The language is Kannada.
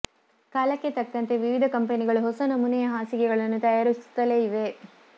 ಕಾಲಕ್ಕೆ ತಕ್ಕಂತೆ ವಿವಿಧ ಕಂಪೆನಿಗಳು ಹೊಸ ನಮೂನೆಯ ಹಾಸಿಗೆಗಳನ್ನು ತಯಾರಿಸುತ್ತಲೇ ಇವೆ